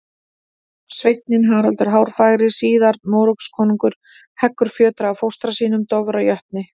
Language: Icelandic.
Sveinninn Haraldur hárfagri, síðar Noregskonungur, heggur fjötra af fóstra sínum, Dofra jötni.